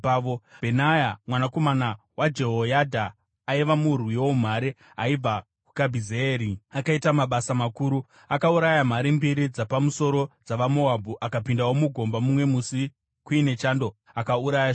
Bhenaya mwanakomana waJehoyadha aiva murwi woumhare aibva kuKabhizeeri, akaita mabasa makuru. Akauraya mhare mbiri dzapamusoro dzavaMoabhu. Akapindawo mugomba mumwe musi kuine chando akauraya shumba.